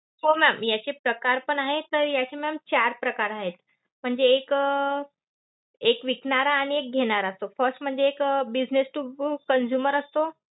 हो ma'am याचे प्रकार पण आहेत. तर याचे ma'am चार प्रकार आहेत. म्हणजे एक अं एक विकणारा आणि एक घेणारा असतो. first म्हणजे एक business to consumer असतो.